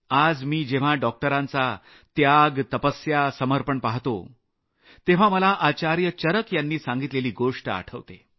आज मी जेव्हा डॉक्टरांचा त्याग तपस्या समर्पण पहातो तेव्हा मला आचार्य चरक यांनी सांगितलेली गोष्ट आठवते